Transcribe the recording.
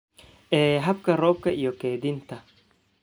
ee hababka roobka iyo kaydinta.